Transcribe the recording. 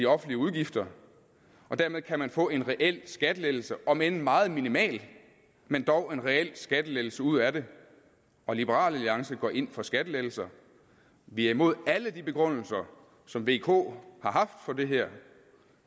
offentlige udgifter og dermed kan man få en reel skattelettelse om end en meget minimal men dog en reel skattelettelse ud af det og liberal alliance går ind for skattelettelser vi er imod alle de begrundelser som vk har haft for det her